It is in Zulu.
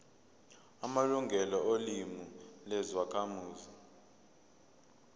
amalungelo olimi lwezakhamuzi